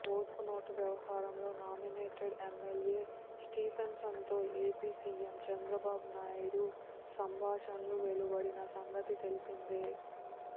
ఓటుకు నోటు వ్యవహారంలో నామినేటెడ్ ఎమ్మెల్యే స్టీఫెన్సన్తో ఏపీ సీఎం చంద్రబాబు నాయుడు సంభాణషలు వెలువడిన సంగతి తెలిసిందే